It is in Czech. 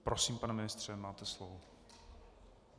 Prosím, pane ministře, máte slovo.